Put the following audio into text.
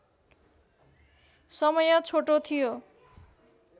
समय छोटो थियो